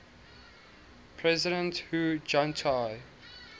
president hu jintao